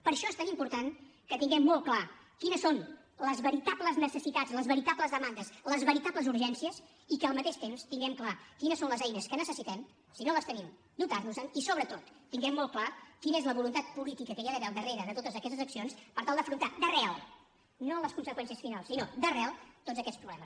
per això és tan important que tinguem molt clar quines són les veritables necessitats les veritables demandes les veritables urgències i que al mateix temps tinguem clar quines són les eines que necessitem si no les tenim dotar nos en i sobretot tinguem molt clar quina és la voluntat política que hi ha d’haver al darrere de totes aquestes accions per tal d’afrontar d’arrel no a les conseqüències finals sinó d’arrel tots aquests problemes